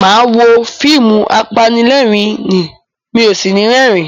Mo máa wo fíìmù apanilérìn-ín, mi ò sì ní rẹ́rìn-ín.